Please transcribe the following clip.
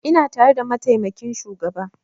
Ina tare da mataimakin shugaba